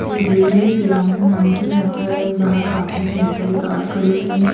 यह एक बिल्डिंग है श्रीराम नाम की यहाँ पर बाहर पार्किंग में बहुत सारी कार्स खड़ी हुई हैं।